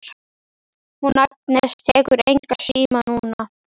Hún Agnes tekur engan síma núna.